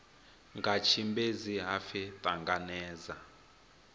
nga tshimbedzi ha pfi ṱanangedza